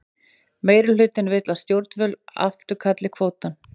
Meirihlutinn vill að stjórnvöld afturkalli kvótann